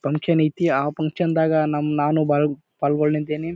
Fun ಕ್ಷನ್ ಐತಿ ಆ function ದಾಗ ನಾ ನಾನು ಪಾಲ್ ಪಾಲ್ಗೊಂಡಿದ್ದೀನಿ.